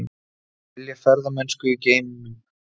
Vilja ferðamennsku í geimnum